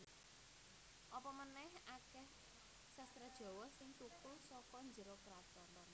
Apa manèh akèh sastra Jawa sing thukul saka njero kraton